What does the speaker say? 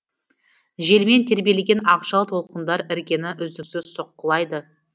желмен тербелген ақжал толқындар іргені үздіксіз соққылайды